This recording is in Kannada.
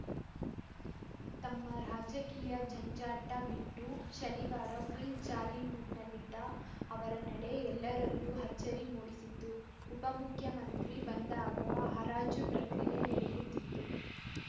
ತಮ್ಮ ರಾಜಕೀಯ ಜಂಜಾಟ ಬಿಟ್ಟು ಶನಿವಾರ ಫುಲ್‌ ಜಾಲಿ ಮೂಡ್‌ನಲ್ಲಿದ್ದ ಅವರ ನಡೆ ಎಲ್ಲರಲ್ಲೂ ಅಚ್ಚರಿ ಮೂಡಿಸಿತು ಉಪಮುಖ್ಯಮಂತ್ರಿ ಬಂದಾಗ ಹರಾಜು ಪ್ರಕ್ರಿಯೆ ನಡೆಯುತ್ತಿತ್ತು